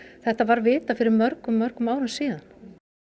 þetta var vitað fyrir mörgum mörgum árum síðan